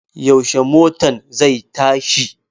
Yaushe motan zai tashi?